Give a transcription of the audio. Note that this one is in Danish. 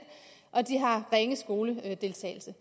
og de har ringe skoledeltagelse